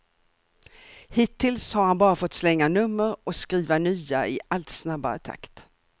Hittills har han bara fått slänga nummer och skriva nya i allt snabbare takt.